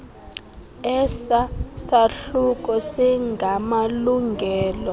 esa sahluko singamalungelo